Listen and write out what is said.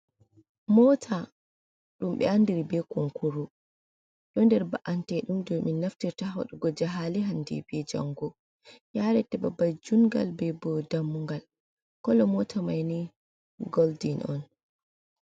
Mota dumbe andiri be konkuru. Ɗo nder ba’antedum do min naftirta wadugo jahali hande be jango, yareta babal jungal, be bo dammugal, kolo mota maini goldin on.